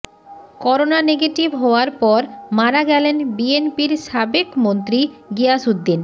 corona negative হওয়ার পর মারা গেলেন বিএনপির সাবেক মন্ত্রী গিয়াস উদ্দিন